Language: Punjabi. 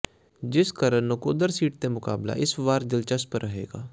ਜਿਸ ਕਰਨ ਨਕੋਦਰ ਸੀਟ ਤੇ ਮੁਕ਼ਾਬਲਾਂ ਇਸ ਵਾਰ ਦਿਲਚਸਪ ਰਹੇਗਾ